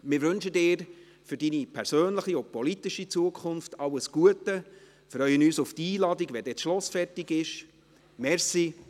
Wir wünschen Ihnen für Ihre persönliche und politische Zukunft alles Gute, freuen uns auf die Einladung, sobald das Schloss fertig ist.